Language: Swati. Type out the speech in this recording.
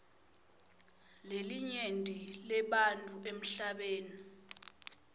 lelinyenti lebantfu emhlabeni